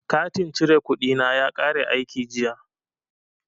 Katin cire kuɗi na ya kare aiki jiya.